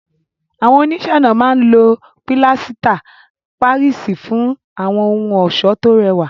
Àwọn oníṣẹ́-ọnà máa ń lo pilasita Páríìsì fún àwọn ohun ọ̀ṣọ́ tó rẹwà.